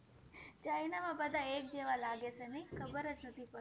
china માં બધા એક જેવાજ લાગેછે ખબરજ નથી પડતી